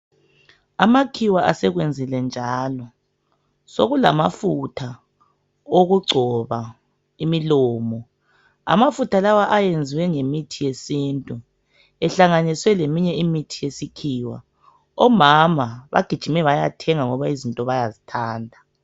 Amakhiwa asekwenzile njalo, sokulamafutha okugcoba imilomo, amafutha lawa ayenziwe ngemithi yesintu, ehlanganiswe leminye imithi yesikhiwa, omama bagijime bayathenga ngoba izinto bayazithanda.